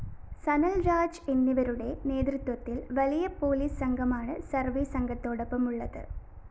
സനല്‍രാജ് എന്നിവരുടെ നേതൃത്വത്തില്‍ വലിയ പോലീസ് സംഘമാണ് സർവേ സംഘത്തോടൊപ്പമുള്ളത്